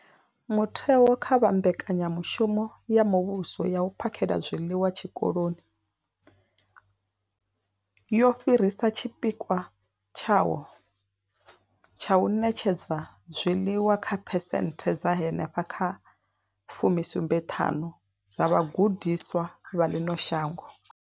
Mutheo, kha vha mbekanyamushumo ya muvhuso ya u phakhela zwiḽiwa Zwikoloni, wo fhirisa tshipikwa tshawo tsha u ṋetshedza zwiḽiwa kha phesenthe dza henefha kha fumi sumbe ṱhanu dza vhagudiswa vha ḽino shango.